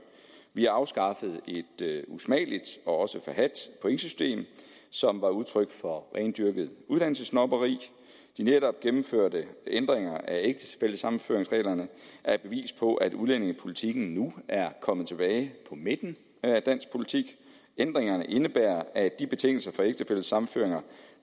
vi afskaffede et usmageligt og også forhadt pointsystem som var udtryk for rendyrket uddannelsessnobberi de netop gennemførte ændringer af ægtefællesammenføringsreglerne er et bevis på at udlændingepolitikken nu er kommet tilbage på midten af dansk politik ændringerne indebærer at de betingelse for ægtefællesammenføringer